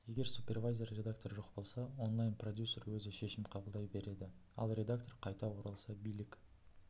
егер супервайзер редактор жоқ болса онлайн продюсер өзі шешім қабылдай береді ал редактор қайта оралса билік